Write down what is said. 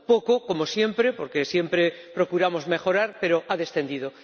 Poco, como siempre ―porque siempre procuramos mejorar―, pero ha descendido.